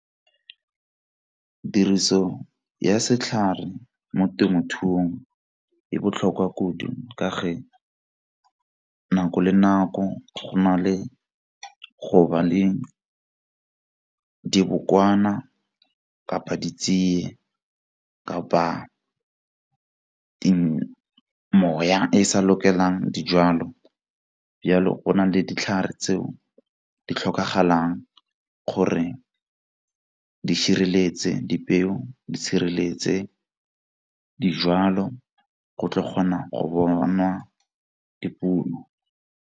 Tiriso ya setlhare mo temothuong e botlhokwa kudu ka fa nako le nako go na le go ba le dibokwana kapa di tsie kapa moya e e sa lokelang dijwalo. Bjalo go na le ditlhare tseo di tlhokagalang gore di sireletse dipeo di sireletse dijwalo go tlo kgona go bonwa dipuno.